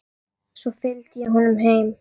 Svo fylgdi ég honum heim.